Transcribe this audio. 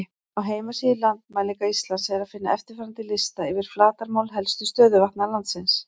Á heimasíðu Landmælinga Íslands er að finna eftirfarandi lista yfir flatarmál helstu stöðuvatna landsins: